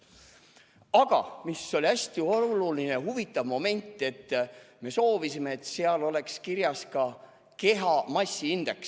Aga hästi oluline ja huvitav moment oli see, et me soovisime, et seal oleks kirjas ka kehamassiindeks.